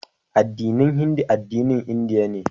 Addinin Hindu addinin Indiya ne